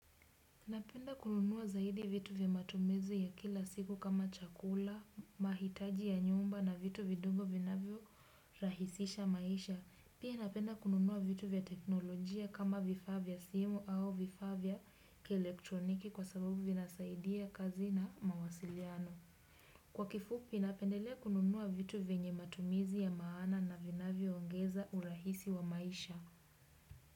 Napenda kununua zaidi vitu vya matumizi ya kila siku kama chakula, mahitaji ya nyumba na vitu vidogo vinavyorahisisha maisha. Pia napenda kununua vitu vya teknolojia kama vifaa vya simu au vifaa vya kielektroniki kwa sababu vinasaidia kazi na mawasiliano. Kwa kifupi napendelea kununua vitu vyenye matumizi ya maana na vinavyoongeza urahisi wa maisha.